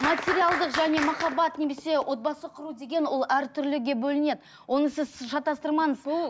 материалдық және махаббат немесе отбасы құру деген ол әртүрліге бөлінеді оны сіз шатастырмаңыз бұл